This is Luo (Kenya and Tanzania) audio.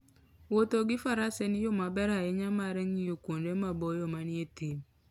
Wuotho gi faras en yo maber ahinya mar ng'iyo kuonde maboyo manie thim.